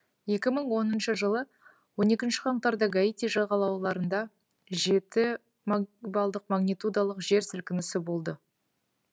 екі мың он үшінші жылы он екінші қаңтарда гаити жағалауларында жеті магнитудалық жер сілкінісі болды